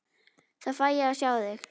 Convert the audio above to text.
Þá fæ ég að sjá þig.